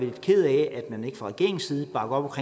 lidt ked af at man ikke fra regeringens side bakker op